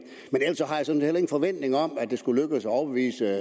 forventning om at det skulle lykkes at overbevise